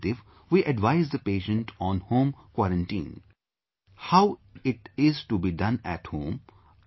If negative, we advise the patient on home quarantine, how it is to be done at home